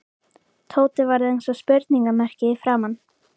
Tóti varð eins og spurningarmerki í framan.